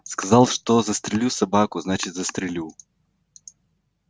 сказал что застрелю собаку значит застрелю